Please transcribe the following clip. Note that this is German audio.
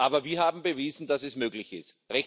Aber wir haben bewiesen, dass es möglich ist.